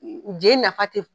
Je nafa te